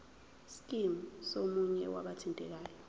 scheme somunye wabathintekayo